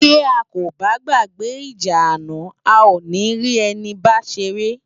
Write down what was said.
Bi á kó bá gbágbè ijá àná á ó ni ri èni bá séré